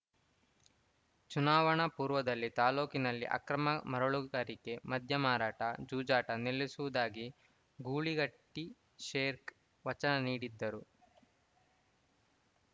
ಚುನಾವಣಾ ಪೂರ್ವದಲ್ಲಿ ತಾಲೂಕಿನಲ್ಲಿ ಅಕ್ರಮ ಮರಳುಗಾರಿಕೆ ಮದ್ಯ ಮಾರಾಟ ಜೂಜಾಟ ನಿಲ್ಲಿಸುವುದಾಗಿ ಗೂಳಿಹಟ್ಟಿಶೇಖರ್‌ ವಚನ ನೀಡಿದ್ದರು